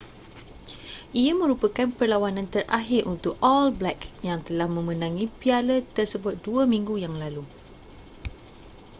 ia merupakan perlawanan terakhir untuk all blacks yang telah memenangi piala tersebut dua minggu yang lalu